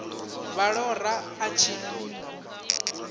vha ṱo ḓa a tshi